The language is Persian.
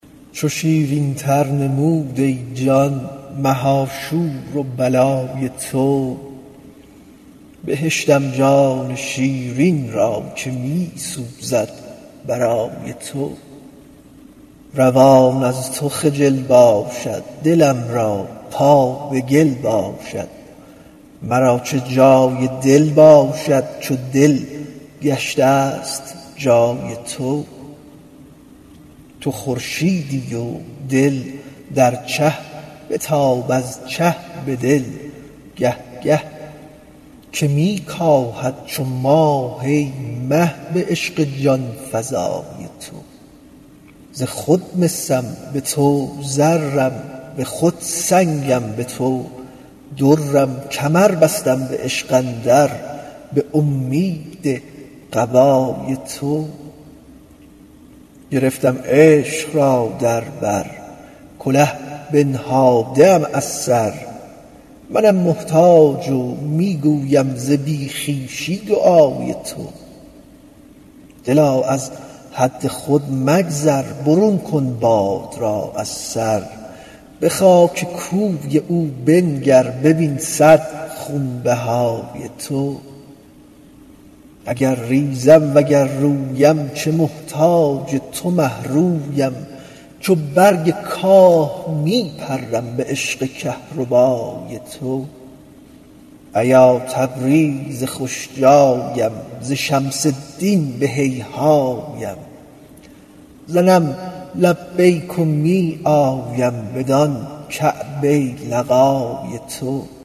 چو شیرینتر نمود ای جان مها شور و بلای تو بهشتم جان شیرین را که می سوزد برای تو روان از تو خجل باشد دلم را پا به گل باشد مرا چه جای دل باشد چو دل گشته ست جای تو تو خورشیدی و دل در چه بتاب از چه به دل گه گه که می کاهد چو ماه ای مه به عشق جان فزای تو ز خود مسم به تو زرم به خود سنگم به تو درم کمر بستم به عشق اندر به اومید قبای تو گرفتم عشق را در بر کله بنهاده ام از سر منم محتاج و می گویم ز بی خویشی دعای تو دلا از حد خود مگذر برون کن باد را از سر به خاک کوی او بنگر ببین صد خونبهای تو اگر ریزم وگر رویم چه محتاج تو مه رویم چو برگ کاه می پرم به عشق کهربای تو ایا تبریز خوش جایم ز شمس الدین به هیهایم زنم لبیک و می آیم بدان کعبه لقای تو